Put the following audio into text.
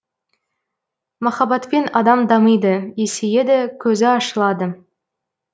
махаббатпен адам дамиды есейеді көзі ашылады